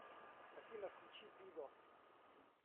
афина включи бизос